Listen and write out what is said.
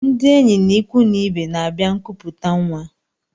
Ndị enyi na ịkwụ na ibe n'abia nkuputa nwa.